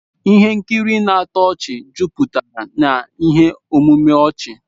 Ihe nkiri na-atọ ọchị juputara na ihe omume ọchị.